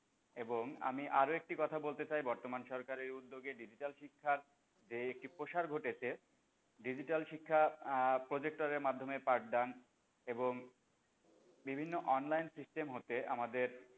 এবং আমি আরো একটি কথা বলতে চাই বর্তমান সরকারের উদ্যোগে যে digital শিক্ষার যে একটি প্রসার ঘটেছে digital শিক্ষার আহ projector এর মাধ্যমে পাঠদান এবং বিভিন্ন online system হতে আমাদের,